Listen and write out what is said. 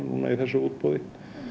í þessu útboði